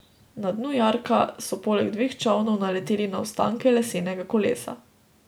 Na dnu jarka so poleg dveh čolnov naleteli na ostanke lesenega kolesa.